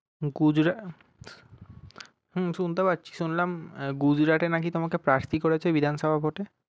গুজরাট হুম শুনতে পাচ্ছি শুনলাম গুজরাটে নাকি তমাকে প্রার্থী করেছে বিধানসভা কোর্টে